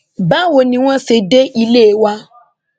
báwo ni wọn ṣe dé ilé wa